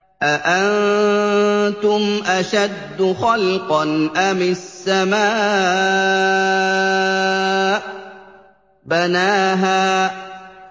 أَأَنتُمْ أَشَدُّ خَلْقًا أَمِ السَّمَاءُ ۚ بَنَاهَا